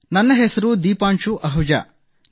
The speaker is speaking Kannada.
ನನ್ನ ಹೆಸರು ದೀಪಾಂಶು ಅಹುಜಾ